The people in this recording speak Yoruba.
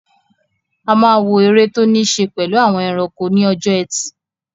A máa wo eré tó ní ṣe pẹ̀lú àwọn ẹranko ní ọjọ́ ẹtì